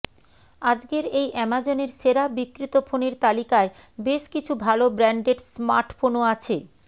আজকের এই অ্যামাজনের সেরা বিক্রিত ফোনের তালিকায় বেশ কিছু ভাল ব্র্যান্ডেড স্মার্টফোনও আছে